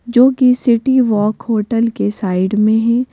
जो कि city walk hotel के साइड में ही--